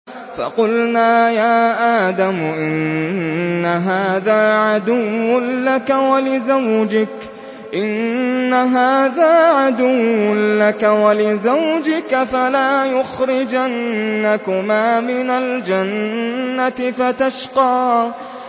فَقُلْنَا يَا آدَمُ إِنَّ هَٰذَا عَدُوٌّ لَّكَ وَلِزَوْجِكَ فَلَا يُخْرِجَنَّكُمَا مِنَ الْجَنَّةِ فَتَشْقَىٰ